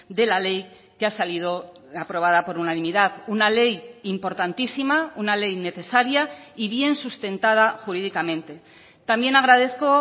de la ley que ha salido aprobada por unanimidad una ley importantísima una ley necesaria y bien sustentada jurídicamente también agradezco